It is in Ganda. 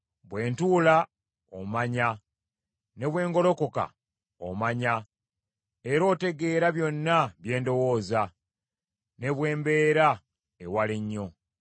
Bwe ntuula omanya, ne bwe ngolokoka omanya; era otegeera byonna bye ndowooza, ne bwe mbeera ewala ennyo.